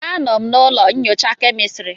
Anọ m na ụlọ nyocha kemistri.